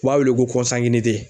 U b'a weele ko